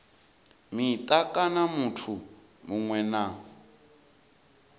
mita kana muthu muṅwe na